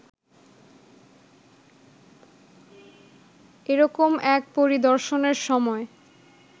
এরকম এক পরিদর্শনের সময়